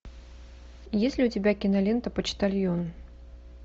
есть ли у тебя кинолента почтальон